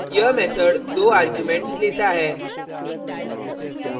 यह method दो arguments लेता है